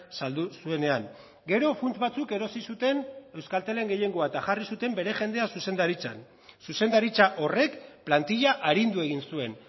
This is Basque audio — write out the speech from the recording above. saldu zuenean gero funts batzuk erosi zuten euskaltelen gehiengoa eta jarri zuten bere jendea zuzendaritzan zuzendaritza horrek plantilla arindu egin zuen